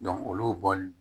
olu bɔli